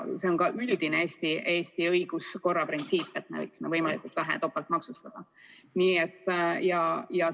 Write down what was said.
See on ka üldine Eesti õiguskorra printsiip, et me võiksime võimalikult vähe topeltmaksustada.